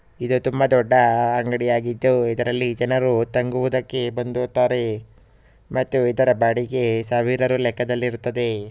ಇದು ತುಂಬಾ ದೊಡ್ಡಅಂಗಡಿಯಾಗಿದ್ದುಇದರಲ್ಲಿ ಜನರು ತಂಗುವುದಕ್ಕೆ ಬಂದು ಹೋಗತ್ತಾರೆ. ಮತ್ತುಇದರ ಬಾಡಿಗೆ ಸಾವಿರಾರು ಲೆಕ್ಕದಲ್ಲಿರುತ್ತದೆ.